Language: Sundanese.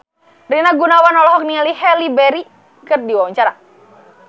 Rina Gunawan olohok ningali Halle Berry keur diwawancara